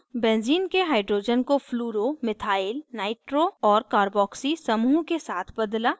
benzene के hydrogen को fluoro methyl nitro और carboxy समूह के साथ बदला